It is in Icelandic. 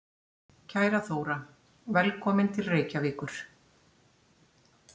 Kæra Þóra. Velkomin til Reykjavíkur.